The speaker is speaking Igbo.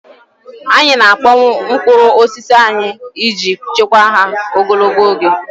Anyị na-akpọnwụ mkpụrụ osisi anyị iji chekwaa ha ogologo oge.